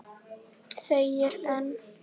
Þegir enn.